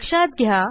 लक्षात घ्या